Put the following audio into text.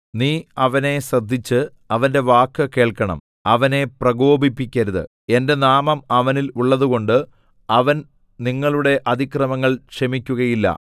നീ അവനെ ശ്രദ്ധിച്ച് അവന്റെ വാക്ക് കേൾക്കണം അവനെ പ്രകോപിപ്പിക്കരുത് എന്റെ നാമം അവനിൽ ഉള്ളതുകൊണ്ട് അവൻ നിങ്ങളുടെ അതിക്രമങ്ങൾ ക്ഷമിക്കുകയില്ല